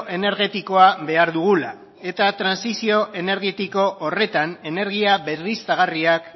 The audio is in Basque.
energetikoa behar dugula eta trantsizio energetiko horretan energia berriztagarriak